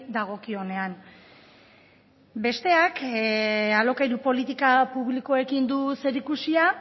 dagokionean besteak alokairu politika publikoekin du zerikusia